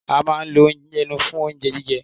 A ma lo ẹnu fún oúnjẹ jíjẹ.